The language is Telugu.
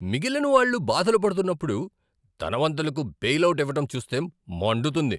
మిగిలినవాళ్ళు బాధలు పడుతున్నప్పుడు, ధనవంతులకు బెయిలవుట్ ఇవ్వటం చూస్తే మండుతుంది.